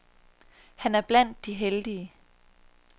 Han er blandt de heldige.